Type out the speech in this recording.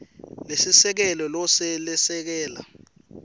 lesiseke lo lesekela